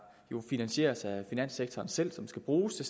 jo finansieres af finanssektoren selv der skal bruges til